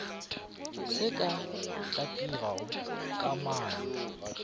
se se ka tlipago kamano